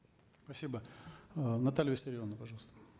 спасибо э наталья виссарионовна пожалуйста